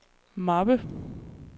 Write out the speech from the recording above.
mappe